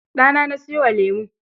Ɗana na sayo wa lemon.